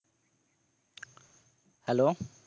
Hello